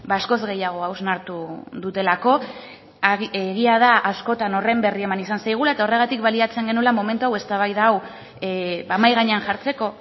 askoz gehiago hausnartu dutelako egia da askotan horren berri eman izan zaigula eta horregatik baliatzen genuela momentu hau eztabaida hau mahai gainean jartzeko